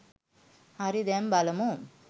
හරි දැන් බලමු